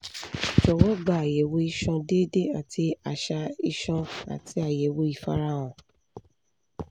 jọwọ gba ayẹwo iṣan deede ati aṣa iṣan ati ayẹwo ifarahan